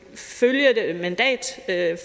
at